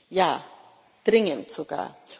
Ja, dringend sogar!